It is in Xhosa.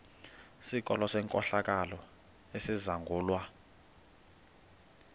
sikolo senkohlakalo esizangulwa